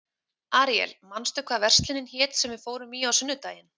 Aríel, manstu hvað verslunin hét sem við fórum í á sunnudaginn?